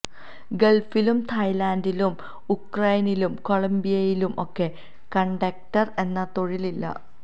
ഗൾഫിലും തായ്ലാന്റിലും ഉക്രൈനിലും കൊളംബിയയിലും ഒക്കെ കണ്ടക്റ്റർ എന്ന തൊഴിൽ ഇല്ല